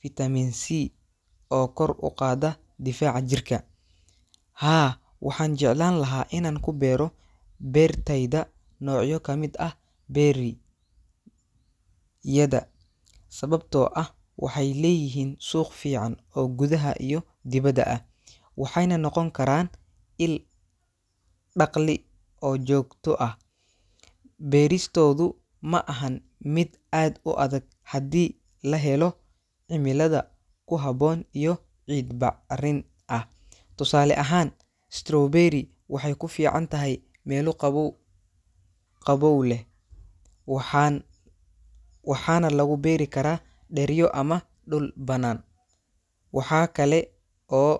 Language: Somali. fiitamiin C oo kor u qaada difaaca jirka. Haa, waxaan jeclaan lahaa inaan ku beero beertayda noocyo ka mid ah berry-yada sababtoo ah waxay leeyihiin suuq fiican oo gudaha iyo dibadda ah, waxayna noqon karaan il-dakhli oo joogto ah. Beeristoodu ma ahan mid aad u adag haddii la helo cimilada ku habboon iyo ciid bacrin ah. Tusaale ahaan, strawberry waxay ku fiicantahay meelo qabow-qabow leh, waxaan waxaana lagu beeri karaa dheryo ama dhul bannaan. Waxa kale oo.